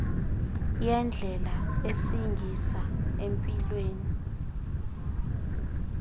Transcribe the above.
yendlela esingisa empilweni